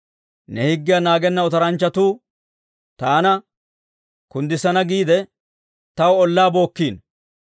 Ne higgiyaa naagenna otoranchchatuu, taana kuddissana giide, taw ollaa bookkiino.